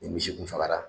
Ni misi kun fagara